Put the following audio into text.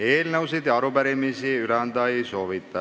Eelnõusid ega arupärimisi üle anda ei soovita.